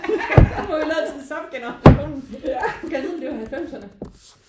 Ja vi må hellere tage subgenerationen gad vide om det var halvfemserne?